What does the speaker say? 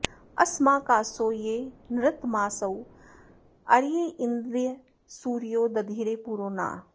अस्माकासो ये नृतमासो अर्य इन्द्र सूरयो दधिरे पुरो नः